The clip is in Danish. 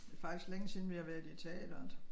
Det faktisk længe siden vi har været i teateret